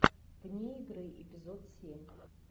вне игры эпизод семь